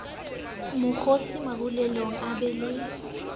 mokgosi marulelong e be le